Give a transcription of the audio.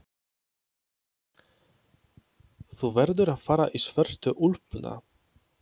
Þú verður að fara í svörtu úlpuna.